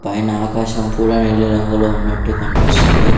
పైన ఆకాశం కూడా నీలి రంగులో ఉన్నట్టు కనిపిస్తుంది.